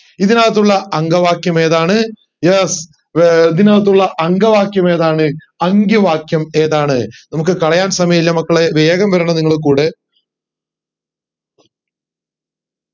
ഇതിനകുത്തുള്ള അങ്കവാക്യം ഏതാണ് ഇതിന ഏർ ഇതിനകത്തുള്ള അങ്കവാക്യം ഏതാണ് അങ്കിവാക്യം ഏതാണ് നമുക് കളയാൻ സമയമില്ല മക്കളെ വേഗം വരണം നിങ്ങൾ കൂടെ